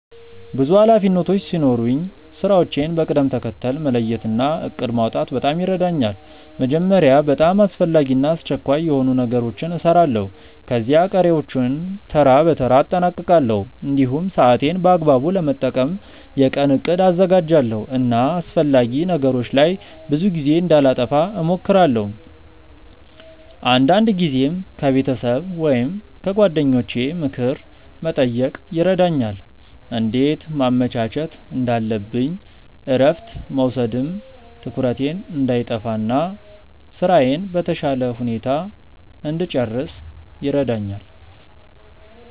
ብዙ ኃላፊነቶች ሲኖሩኝ ስራዎቼን በቅደም ተከተል መለየት እና እቅድ ማውጣት በጣም ይረዳኛል። መጀመሪያ በጣም አስፈላጊ እና አስቸኳይ የሆኑ ነገሮችን እሰራለሁ፣ ከዚያ ቀሪዎቹን በተራ በተራ አጠናቅቃለሁ። እንዲሁም ሰዓቴን በአግባቡ ለመጠቀም የቀን እቅድ አዘጋጃለሁ እና አላስፈላጊ ነገሮች ላይ ብዙ ጊዜ እንዳላጠፋ እሞክራለሁ። አንዳንድ ጊዜም ከቤተሰብ ወይም ከጓደኞቼ ምክር መጠየቅ ይረዳኛል እንዴት ማመቻቸት እንዳለብኝ እረፍት መውሰድም ትኩረቴን እንዳይጠፋ እና ስራዬን በተሻለ ሁኔታ እንድጨርስ ይረዳኛል።